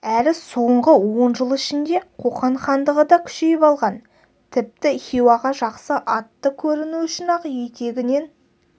әрі соңғы он жыл ішінде қоқан хандығы да күшейіп алған тіпті хиуаға жақсы атты көріну үшін-ақ етегінен